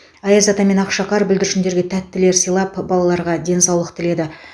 аяз ата мен ақшақар бүлдіршіндерге тәттілер сыйлап балаларға денсаулық тіледі